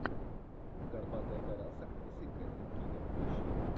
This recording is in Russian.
горбатая гора с актрисой кэтрин кимер поищи